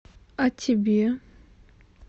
а тебе